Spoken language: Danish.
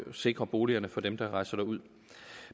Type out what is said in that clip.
sikre boligerne for dem der rejser ud